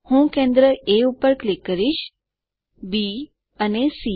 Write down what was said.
હું કેન્દ્ર એ પર ક્લિક કરીશ બી અને સી